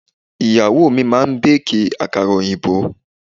Ìyàwó mi máa bẹ́ẹ̀kì àkàrà òyìnbó.